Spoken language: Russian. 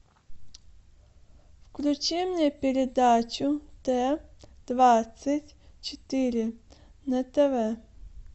включи мне передачу т двадцать четыре на тв